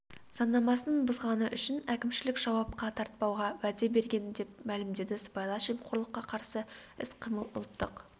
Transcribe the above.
заңнамасын бұзғаны үшін әкімшілік жауапқа тартпауға уәде берген деп мәлімдеді сыбайлас жемқорлыққа қарсы іс-қимыл ұлттық